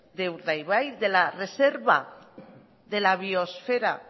de la reserva de la biosfera